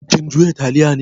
Kin juya taliya ne?